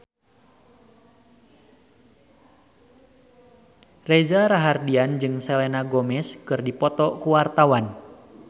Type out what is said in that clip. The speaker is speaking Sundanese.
Reza Rahardian jeung Selena Gomez keur dipoto ku wartawan